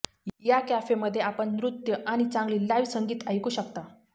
या कॅफेमध्ये आपण नृत्य आणि चांगली लाइव्ह संगीत ऐकू शकता